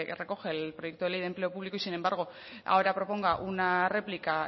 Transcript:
recoge el proyecto ley de empleo público y sin embargo ahora proponga una réplica